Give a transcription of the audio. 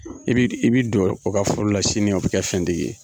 I bi i bi don o ka furu la sini o bɛ kɛ fɛntigi ye.